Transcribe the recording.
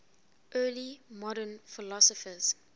early modern philosophers